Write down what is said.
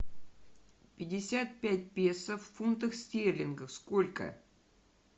пятьдесят пять песо в фунтах стерлингов сколько